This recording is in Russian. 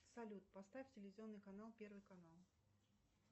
салют поставь телевизионный канал первый канал